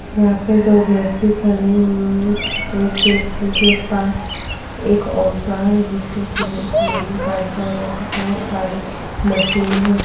वहाँ पे दो व्यक्ति खड़े हुए है एक व्यक्ति के पास एक औजार है जिससे कि वो एक नली काट रहा है यहाँ पर बहुत सारे मशीन है।